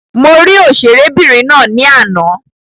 Mo rí òṣèré obìnrin ná ní àná.